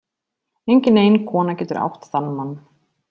Engin ein kona getur átt þann mann.